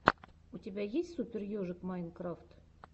у тебя есть супер ежик майнкрафт